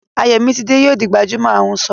Ayomitide yóò di gbajúmọ̀ ahunṣọ